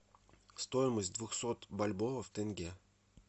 стоимость двухсот бальбоа в тенге